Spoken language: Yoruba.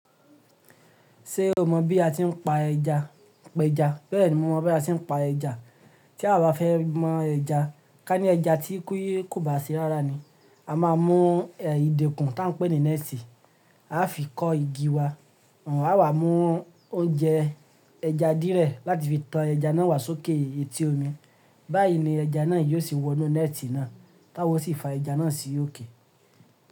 Té o mọ̀ bí a ti ń pa ẹja? Pẹ́jà. Bẹ́ẹ̀ni, mo mọ bí a ti ń pa ẹja. Tí a bá fẹ́ mọ ẹja, ká ní ẹja tí ki kò bá ṣi rárá ni. A máa mú ẹ̀ ìdèkùn tá ń pè ní nẹ́ẹ̀tì, a fi kọ́ igi wa, àwa mú oúnjẹ ẹja díẹ̀ láti fi tan ẹja náà wá sókè etí omi. Báyìí ni ẹja náà yóò sì wọnú nẹ́ẹ̀tì náà, táwa ò sì fa ẹja náà sí òkè.